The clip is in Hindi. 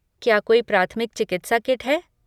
क्या कोई प्राथमिक चिकित्सा किट है?